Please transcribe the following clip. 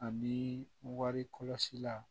Ani wari kɔlɔsi la